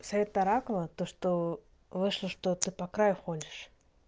совет аракула то что вышло что ты по краю ходишь